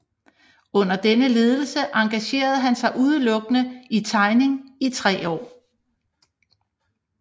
Under dennes ledelse engagerede han sig udelukkende i tegning i tre år